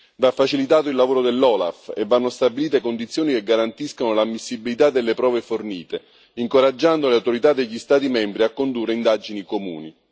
Va facilitato il lavoro dell'OLAF e vanno stabilite condizioni che garantiscano l'ammissibilità delle prove fornite, incoraggiando le autorità degli Stati membri a condurre indagini comuni.